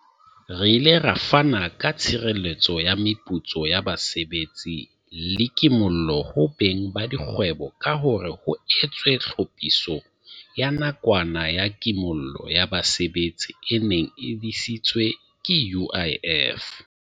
Re ile ra fana ka tshireletso ya meputso ya basebetsi le ki mollo ho beng ba dikgwebo ka hore ho etswe Tlhophiso ya Nakwana ya Kimollo ya Basebetsi e neng e disitswe ke UIF.